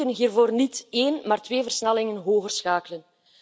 We moeten hiervoor niet één maar twee versnellingen hoger schakelen.